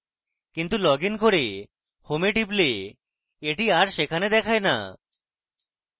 কিন্তু লগইন করে home we টিপলে এটি আর সেখানে থাকে no